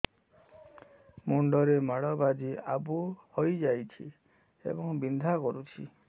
ମୁଣ୍ଡ ରେ ମାଡ ବାଜି ଆବୁ ହଇଯାଇଛି ଏବଂ ବିନ୍ଧା କରୁଛି